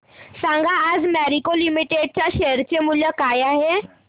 सांगा आज मॅरिको लिमिटेड च्या शेअर चे मूल्य काय आहे